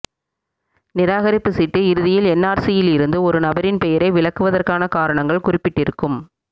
நிராகரிப்பு சீட்டு இறுதியில் என்ஆர்சியிலிருந்து ஒரு நபரின் பெயரை விலக்குவதற்கான காரணங்கள் குறிப்பிடப்பட்டிருக்கும்